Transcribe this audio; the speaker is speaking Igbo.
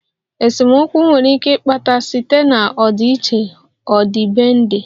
Esemokwu nwere ike ịkpata site na ọdịiche ọdịbendị